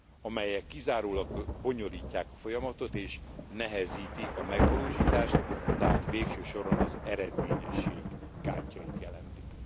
amelyek kizárólag bonyolítják a folyamatot és nehezítik a megvalósítást, tehát végső soron az eredményesség gátjait jelentik.